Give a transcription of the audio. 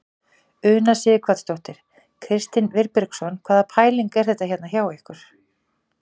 Una Sighvatsdóttir: Kristinn Vilbergsson hvaða pæling er þetta hérna hjá ykkur?